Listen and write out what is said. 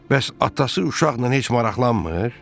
Bəs atası uşaqla heç maraqlanmır?